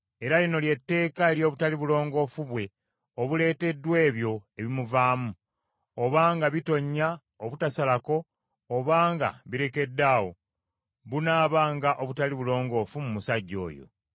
Era lino ly’etteeka ery’obutali bulongoofu bwe obuleeteddwa ebyo ebimuvaamu: obanga bitonnya obutasalako, obanga birekeddaawo, bunaabanga obutali bulongoofu mu musajja oyo.